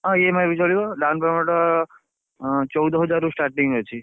ହଁ EMI ବି ଚଳିବ down payment ଉଁ ଚଉଦ ହଜାରରୁ starting ଅଛି।